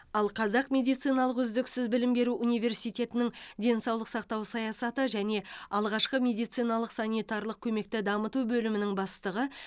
ал қазақ медициналық үздіксіз білім беру университетінің денсаулық сақтау саясаты және алғашқы медициналық санитарлық көмекті дамыту бөлімінің бастығы